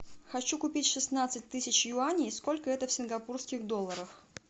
хочу купить шестнадцать тысяч юаней сколько это в сингапурских долларах